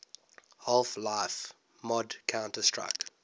half life mod counter strike